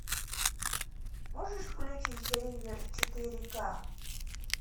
можешь включить ривер четыре ка